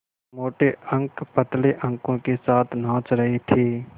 मोटे अंक पतले अंकों के साथ नाच रहे थे